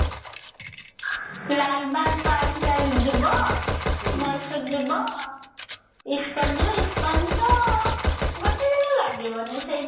Lalbagh park ଚାଲିଯିବ ମୟୀଶୁର ଯିବ ISKCON ଯିବ ଇସ୍କନ ତ ଗୋଟେ ଦିନ ଲାଗିବନି ସେଇ